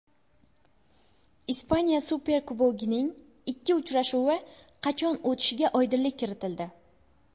Ispaniya Superkubogining ikki uchrashuvi qachon o‘tishiga oydinlik kiritildi.